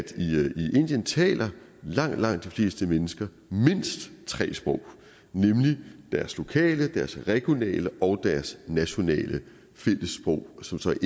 indien taler langt langt de fleste mennesker mindst tre sprog nemlig deres lokale sprog deres regionale sprog og deres nationale fællessprog som så er